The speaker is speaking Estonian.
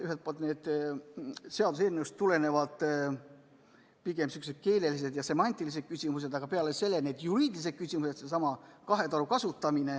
Ühelt poolt on seaduseelnõust tulenevad pigem sihukesed keelelised ja semantilised küsimused, aga peale selle on juriidilised küsimused.